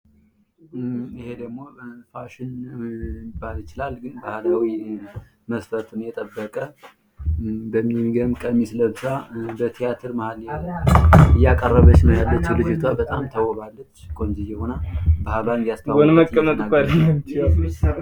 ይህ ደግሞ ፋሽን ሊባል ይችላል ።ግን ባህል ነው የሚገርም ባህል ቀሚስ ለብሳ በትያትር መሀል እያቀረበች ነው የምትገኘው። በጣም ቆንጅየ ሁናለች አምሮባታል ።ባህልን እያስተዋወቀች እየተናገረች ነው የምትገኘው።